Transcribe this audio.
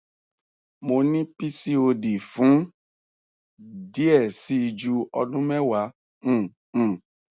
mo ni pcod fun diẹ ẹ sii ju ọdun mẹ́wa um um